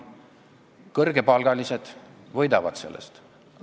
Kõrgepalgalised võidavad sellest.